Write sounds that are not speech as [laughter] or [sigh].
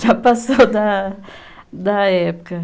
Já passou [laughs] da da época.